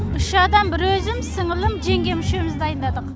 үш адам бір өзім сіңілім жеңгем үшеуіміз дайындадық